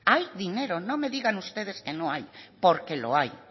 hay dinero no me digan ustedes que no hay porque lo hay